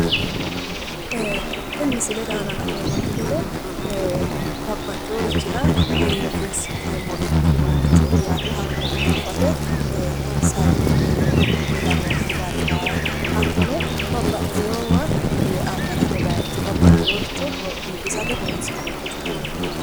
Kuni misilete aana la'neeemmonte gede babbaxewa sargete woyi wolurir biiffisate horonsi'neemmote ufuffate yinannite